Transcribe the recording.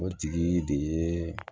O tigi de ye